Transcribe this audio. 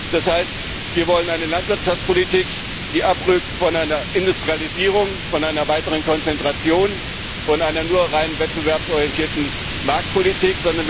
Das heißt, wir wollen eine Landwirtschaftspolitik, die abrückt von einer Industrialisierung, von einer weiteren Konzentration, von einer nur rein wettbewerbsorientierten Marktpolitik